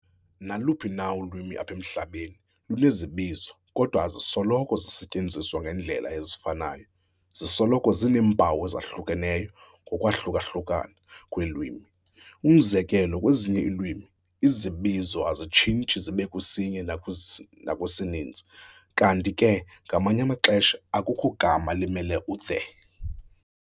Naluphi na ulwimi apha emhlabeni, lunezibizo, kodwa azisoloko zisetyenziswa ngeendlela ezifanayo. Zisoloko zineempawu ezahlukeneyo ngokwahluka-ohlukana kweelwimi. umzekelo, Kwezinye iilwimi, izibizo azitshintshi zibekwisinye nakwisininzi, kanti ke ngamanye amaxesha akukho gama limele u-"the".